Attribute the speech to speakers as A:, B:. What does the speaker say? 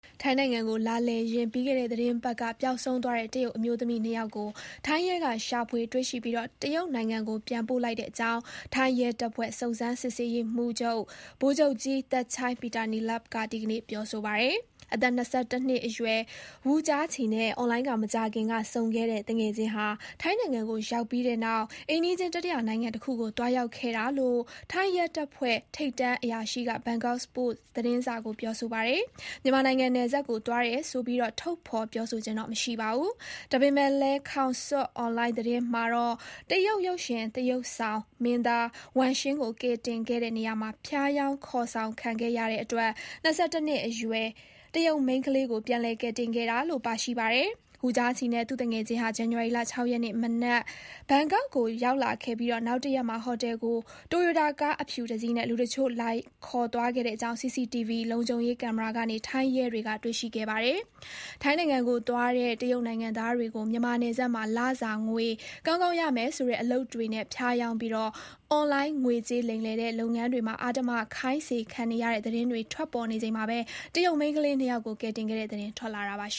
A: ထိုင်းနိုင်ငံကို လာလည်ရင်း ပြီးခဲ့တဲ့ သီတင်းပတ်က ပျောက်ဆုံးသွားတဲ့ တရုတ်အမျိုးသမီး နှစ်ယောက်ကို ထိုင်းရဲက ရှာဖွေတွေ့ရှိပြီး တရုတ်နိုင်ငံကို ပြန်ပို့လိုက်တဲ့အကြောင်း ထိုင်း ရဲတပ်ဖွဲ့ စုံစမ်းစစ်ဆေးရေးမှူးချုပ် ဗိုလ်ချုပ်ကြီး Thatchai Peetaneelabut က ဒီနေ့ ပြောဆိုပါတယ်။ အသက် ၂၁ နှစ်အရွယ် Wu Jiaqi နဲ့ အွန်လိုင်းက မကြာခင်က ဆုံခဲ့တဲ့ သူငယ်ချင်းဟာ ထိုင်းနိုင်ငံကို ရောက်ပြီးတဲ့နောက် အိမ်နီးချင်း တတိယနိုင်ငံတခုကို သွားရောက်ခဲ့တာလို့ ထိုင်းရဲတပ်ဖွဲ့ ထိပ်တန်းအရာရှိက ဘန်ကောက်ပို့စ်သတင်းစာကို ပြောဆိုပါတယ်။ မြန်မာနိုင်ငံနယ်စပ်ကို သွားတယ်ဆိုပြီး ထုတ်ဖေါ်ပြောဆိုခြင်း မရှိပါဘူး။ ဒါပေမဲ့လည်း khaosod English အွန်လိုင်း သတင်းမှာတော့ တရုတ် ရုပ်ရှင်သရုပ်ဆောင်မင်းသား Wang Xing ကို ကယ်တင်ခဲ့တဲ့နေရာမှာ ဖျားယောင်းခေါ်ဆောင်ခံခဲ့ရတဲ့အတွက် ၂၁ နှစ်အရွယ် တရုတ်မိန်းခလေးကို ပြန်လည်ကယ်တင်ခဲ့တာလို့ ပါရှိပါတယ်။ Wu Jiaqi နဲ့ သူ့သူငယ်ချင်းဟာ ဇန်နဝါရီလ ၆ ရက်နေ့ မနက် ဘန်ကောက်ကို ရောက်လာခဲ့ပြီး နောက်တရက်မှာ ဟော်တယ်ကို တိုရိုတာကား အဖြူတစီးနဲ့ လူတချို့ လာခေါ်သွားခဲ့တဲ့အကြောင်း CCTV လုံခြုံရေးကင်မရာကနေ ထိုင်းရဲတွေက တွေ့ရှိခဲ့ပါတယ်။ ထိုင်းနိုင်ငံကို သွားတဲ့ တရုတ်နိုင်ငံသားတွေကို မြန်မာနယ်စပ်မှာ လစာငွေ ကောင်းကောင်းရမယ်ဆိုတဲ့ အလုပ်တွေနဲ့ ဖျားယောင်းပြီး အွန်လိုင်းငွေကြေး လိမ်လည်တဲ့ လုပ်ငန်းတွေမှာ အဓမ္မ ခိုင်းစေခံနေရတဲ့ သတင်းတွေထွက် ပေါ်နေချိန်မှာပဲ တရုတ် မိန်းခလေးနှစ်ယောက်ကို ကယ်တင်ခဲ့တဲ့ သတင်းထွက်လာတာပါ